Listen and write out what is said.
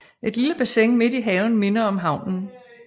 Et lille bassin midt i haven minder om havnen